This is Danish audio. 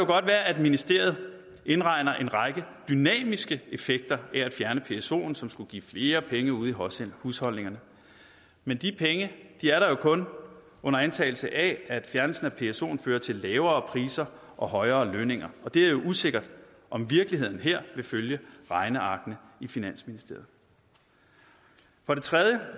godt være at ministeriet indregner en række dynamiske effekter af at fjerne psoen som skulle give flere penge ude i husholdningerne men de penge er der jo kun under antagelse af at fjernelsen af psoen fører til lavere priser og højere lønninger og det er usikkert om virkeligheden her vil følge regnearkene i finansministeriet for det tredje